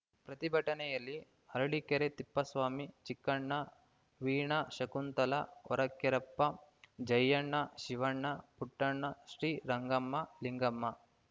ಪ್ರತಿಭಟನೆಯಲ್ಲಿ ಅರಳೀಕೆರೆ ತಿಪ್ಪೇಸ್ವಾಮಿ ಚಿಕ್ಕಣ್ಣ ವೀಣಾ ಶಕುಂತಲಾ ಹೊರಕೇರಪ್ಪ ಜಯಣ್ಣ ಶಿವಣ್ಣ ಪುಟ್ಟಣ್ಣ ಶ್ರೀರಂಗಮ್ಮ ಲಿಂಗಮ್ಮ